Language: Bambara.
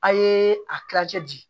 A' ye a tila jɛ bi